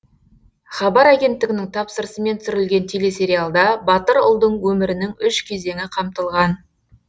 хабар агенттігінің тапсырысымен түсірілген телесериалда батыр ұлдың өмірінің үш кезеңі қамтылған